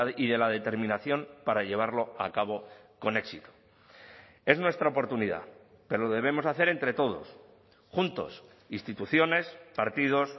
y de la determinación para llevarlo a cabo con éxito es nuestra oportunidad pero lo debemos hacer entre todos juntos instituciones partidos